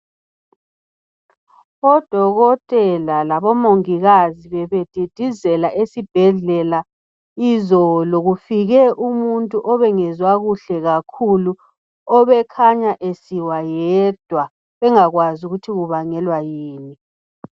Odokotela labomongikazi bebedidizela esibhedlela izolo kufike umuntu obengezwa kuhle kakhulu obekhanya esiwa yedwa bengakwazi ukuthi kubangelwa yini.